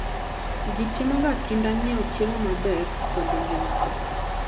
Ji timoga kinda nyiewo chiemo maber kod ngimagi.